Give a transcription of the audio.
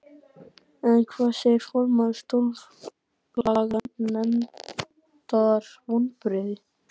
En hvað segir formaður Stjórnlaganefndar, vonbrigði?